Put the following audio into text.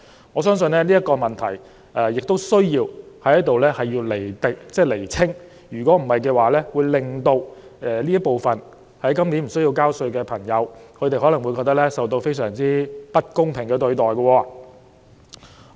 我相信就這個問題，當局亦需要在此釐清，不然便會令到這群在今年無須繳稅的人士，感覺自己受到不公平對待。